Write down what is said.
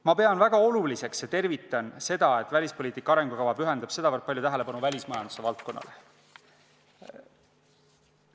Ma pean väga oluliseks ja tervitan seda, et välispoliitika arengukava pühendab sedavõrd palju tähelepanu välismajanduse valdkonnale.